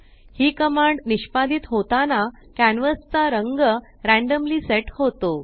ही command निष्पादीत होताना canvas चा रंग रॅंडम्ली सेट होतो